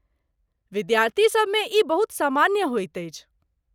विद्यार्थीसभ मे ई बहुत सामान्य होइत अछि।